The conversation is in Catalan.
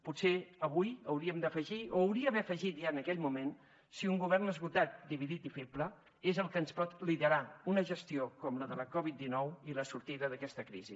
potser avui hi hauríem d’afegir o hi hauria d’haver afegit ja en aquell moment si un govern esgotat dividit i feble és el que ens pot liderar una gestió com la de la covid dinou i la sortida d’aquesta crisi